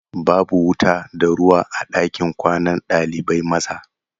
Babu wuta da ruwa a ɗakin kwanan ɗalibai maza.